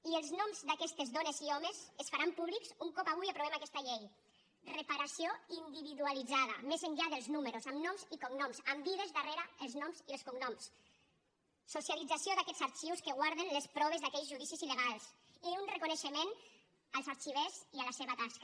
i els noms d’aquestes dones i homes es faran públics un cop avui aprovem aquesta llei reparació individualitzada més enllà dels números amb noms i cognoms amb vides darrere els noms i els cognoms socialització d’aquests arxius que guarden les proves d’aquells judicis il·legals i un reconeixement als arxivers i a la seva tasca